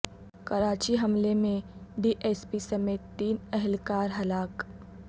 کراچی حملے میں D S P سمیت تین اہلکار ہلاک